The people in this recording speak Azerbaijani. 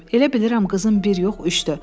Elə bilirəm qızım bir yox, üçdür.